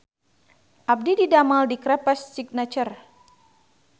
Abdi didamel di Crepes Signature